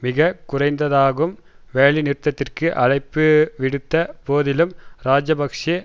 மிக குறைந்ததாகும் வேலைநிறுத்தத்திற்கு அழைப்புவிடுத்த போதிலும் இராஜபக்ஷ